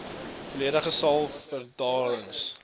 veeldoelige saal vergaderings